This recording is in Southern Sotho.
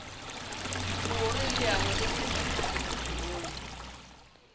hoer leano le phethahale bophelong